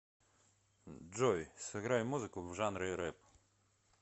джой сыграй музыку в жанре рэп